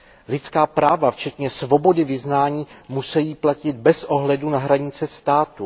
Lidská práva, včetně svobody vyznání, musejí platit bez ohledu na hranice států.